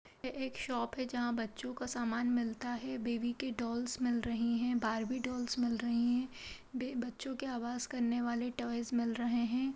यह एक शॉप है जहाँ बच्चों को सामान मिलता है बेबी के डॉल्स मिल रहे हैं बार्बी डॉल्स मिल रही है वे बच्चों के आवाज करने वाले टॉयज मिल रहे हैं।